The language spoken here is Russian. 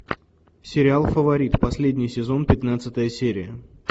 сериал фаворит последний сезон пятнадцатая серия